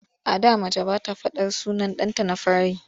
A da mace ba ta faɗar sunan ɗanta na fari.